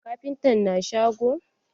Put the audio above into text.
Kafintan na shago?